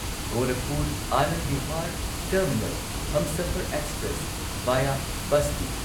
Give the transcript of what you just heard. Gorakhpur Anand Vihar terminal Humsafar express via Basti